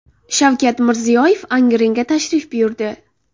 Shavkat Mirziyoyev Angrenga tashrif buyurdi.